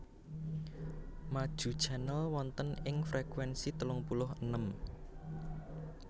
Maju Channel wonten ing frekuensi telung puluh enem